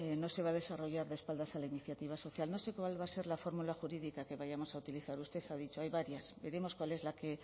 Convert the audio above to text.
no se va a desarrollar de espaldas a la iniciativa social no sé cuál va a ser la forma jurídica que vayamos a utilizar usted ha dicho hay varias veremos cuál es la que